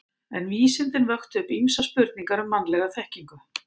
En vísindin vöktu upp ýmsar spurningar um mannlega þekkingu.